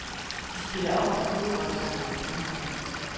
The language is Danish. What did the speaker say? De spiller ofte fodbold sammen. punktum